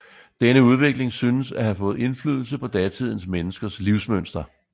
Denne udvikling synes at have fået indflydelse på datidens menneskers livsmønster